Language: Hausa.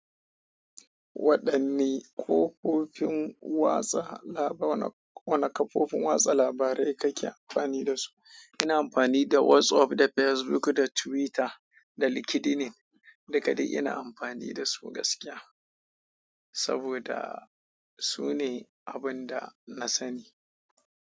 Wadan ne kofofin watsa laba-- wana kafofin watsa labarai kake anfani dasu ina amfani da WhatsApp, da Facebook, da Twitter, da LinkedIn. Duka dai ina amfani da su gaskiya saboda su ne abin da na sani.